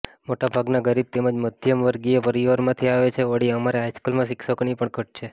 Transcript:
મોટાભાગના ગરીબ તેમજ મધ્યમવર્ગીય પરિવારમાંથી આવે છે વળી અમારે હાઈસ્કુલમાં શિક્ષકોની પણ ઘટ છે